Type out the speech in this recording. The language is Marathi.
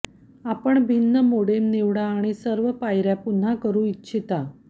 आपण भिन्न मोडेम निवडा आणि सर्व पायऱ्या पुन्हा करू इच्छिता